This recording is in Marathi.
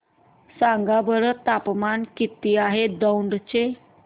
सांगा बरं तापमान किती आहे दौंड चे